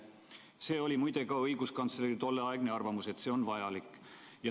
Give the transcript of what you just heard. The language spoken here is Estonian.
See, et see on vajalik, oli muide ka õiguskantsleri tolleaegne arvamus.